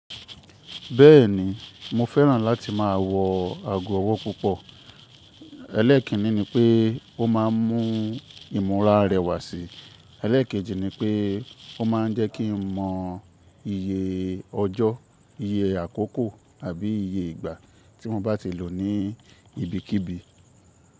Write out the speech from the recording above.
Bẹ́ẹ̀ni, mo fẹ́ràn láti máa wọ ago ọwọ́ púpọ̀. Élékíní ni pé ó ma ń mú ìmúra rẹwà sí, eléèkejì ni pé ó ma ń jẹ́ kí n mọ iye ọjọ́, iye àkókò àbí iye ìgbà tí mo bá ti lò ní ibikíbi.